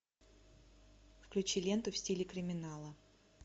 включи ленту в стиле криминала